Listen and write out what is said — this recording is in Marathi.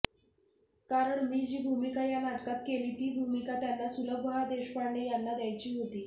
कारण मी जी भूमिका या नाटकात केली ती भूमिका त्यांना सुलभा देशपांडे यांना द्यायची होती